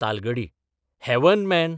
Talgadi heaven, man.